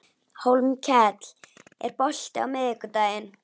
Hólmkell, er bolti á miðvikudaginn?